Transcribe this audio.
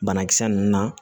Banakisɛ ninnu na